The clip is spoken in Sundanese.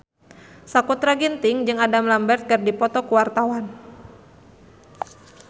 Sakutra Ginting jeung Adam Lambert keur dipoto ku wartawan